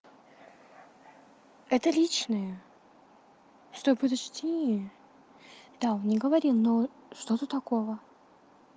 это личное стой подожди да он не говорил но что тут такого